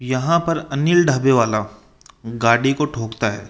यहां पर अनिल ढाबे वाला गाड़ी को ठोकता है।